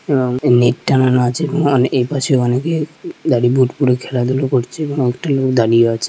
এবং নেট টানানো আছে| এবং এপাশে অনেকে ভালো বুট পরে খেলাধুলা করছে এবং একটা লোক দাঁড়িয়ে আছে।